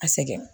A sɛgɛn